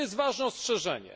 I to jest ważne ostrzeżenie.